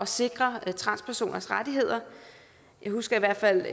sikre transpersoners rettigheder jeg husker i hvert fald